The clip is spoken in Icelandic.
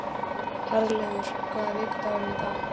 Herleifur, hvaða vikudagur er í dag?